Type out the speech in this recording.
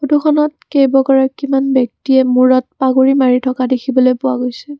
ফটোখনত কেইবাগৰাকীমান ব্যক্তিয়ে মূৰত পাগুৰী মাৰি থকা দেখিবলৈ পোৱা গৈছে।